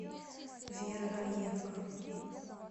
вера раенко